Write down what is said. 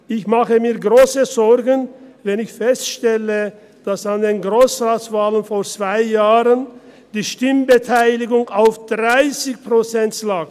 Ich mache mir grosse Sorgen, wenn ich feststelle, dass an den Grossratswahlen vor zwei Jahren die Stimmbeteiligung bei 30 Prozent lag.